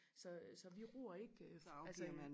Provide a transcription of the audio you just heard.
Så så vi ror ikke øh altså